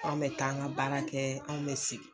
Anw mɛ t'an ka baara kɛ anw mɛ segin